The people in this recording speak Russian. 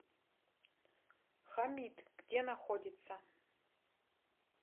хамид где находится